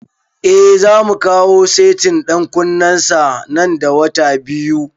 Eh, zamu kawo setin ɗan kunnen sa nan da wata biyu